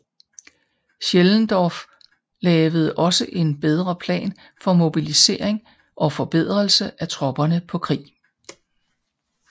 Schellendorf lavede også en bedre plan for mobilisering og forberedelse af tropperne på krig